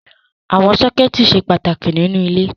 Àwọn sọ́kẹ́tì ṣe pàtàkì nínú ilé.